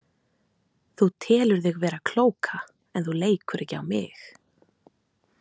Þú telur þig vera klóka en þú leikur ekki á mig.